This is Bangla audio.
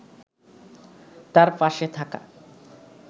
তাঁর পাশে থাকা